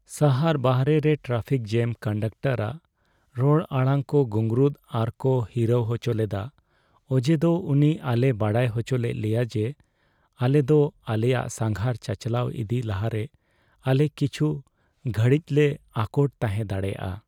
ᱥᱟᱦᱟᱨ ᱵᱟᱦᱨᱮ ᱨᱮ ᱴᱨᱟᱯᱷᱤᱠ ᱡᱮᱹᱢ ᱠᱚᱱᱰᱟᱠᱴᱟᱨ ᱟᱜ ᱨᱚᱲ ᱟᱲᱟᱝ ᱠᱚ ᱜᱩᱝᱨᱩᱛ ᱟᱨ ᱠᱚ ᱦᱤᱨᱟᱹᱣ ᱦᱚᱪᱚ ᱞᱮᱫᱟ ᱚᱡᱮᱫᱚ ᱩᱱᱤ ᱟᱞᱮᱭ ᱵᱟᱲᱟᱭ ᱦᱚᱪᱚ ᱞᱮᱫ ᱞᱮᱭᱟ ᱡᱮ ᱟᱞᱮᱫᱚ ᱟᱞᱮᱭᱟᱜ ᱥᱟᱸᱜᱷᱟᱨ ᱪᱟᱪᱟᱞᱟᱣ ᱤᱫᱤ ᱞᱟᱦᱟᱨᱮ ᱟᱞᱮ ᱠᱤᱪᱷᱩ ᱜᱷᱹᱲᱤᱡᱞᱮ ᱟᱠᱚᱴ ᱛᱟᱦᱮᱸ ᱫᱟᱲᱮᱭᱟᱜᱼᱟ ᱾